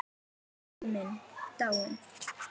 Elsku afi minn er dáinn.